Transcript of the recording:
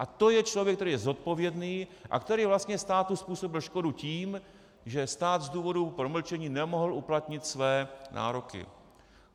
A to je člověk, který je zodpovědný a který vlastně státu způsobil škodu tím, že stát z důvodu promlčení nemohl uplatnit své nároky.